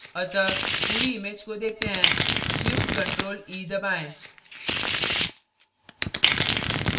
अतः पूरी image को देखते हैं shift + ctrl + e दबाएं